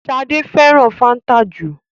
Shade féràn fanta jù.